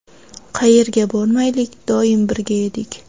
Qayerga bormaylik, doim birga edik.